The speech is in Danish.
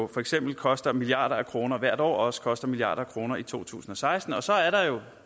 for eksempel koster milliarder af kroner hvert år og også koster milliarder af kroner i to tusind og seksten og så er der jo